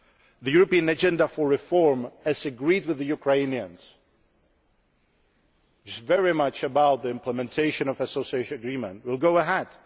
our work. The European Agenda for Reform, as agreed with the Ukrainians, is very much about the implementation of the Association Agreement and it will